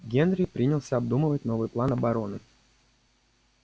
генри принялся обдумывать новый план обороны